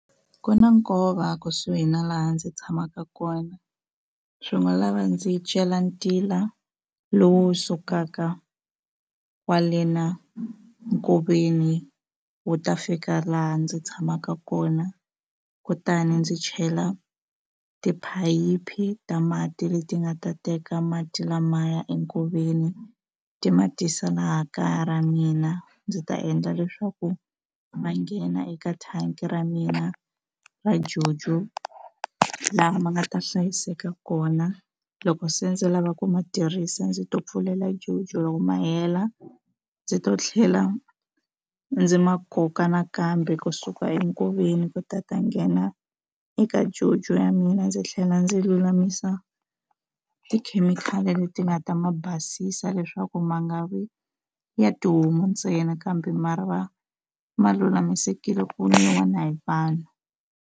Ku na nkova kusuhi na laha ndzi tshamaka kona swi ngo lava ndzi cela ntila lowu sukaka kwale na nkoveni wu ta fika laha ndzi tshamaka kona kutani ndzi chela tiphayiphi ta mati leti nga ta teka mati lamaya enkoveni ti ma tisa laha kaya ra mina ndzi ta endla leswaku ma nghena eka thangi ra mina ra Jojo laha ma nga ta hlayiseka kona loko se ndzi lava ku ma tirhisa ndzi to pfulela JoJo ma hela ndzi to tlhela ndzi ma koka nakambe kusuka enkoveni ku ta ta nghena eka Jojo ya mina ndzi tlhela ndzi lulamisa tikhemikhali leti nga ta ma basisa leswaku ma nga vi ya tihomu ntsena kambe ma ra va ma lulamisekile ku nwiwa na hi vanhu.